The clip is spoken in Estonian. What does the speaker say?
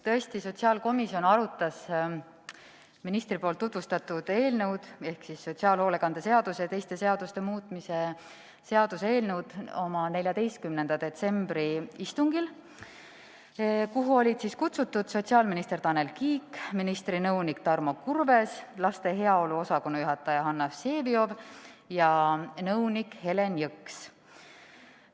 Tõesti, sotsiaalkomisjon arutas ministri tutvustatud eelnõu ehk sotsiaalhoolekande seaduse ja teiste seaduste muutmise seaduse eelnõu oma 14. detsembri istungil, kuhu olid kutsutud ka sotsiaalminister Tanel Kiik, ministri nõunik Tarmo Kurves, laste heaolu osakonna juhataja Hanna Vseviov ja nõunik Helen Jõks.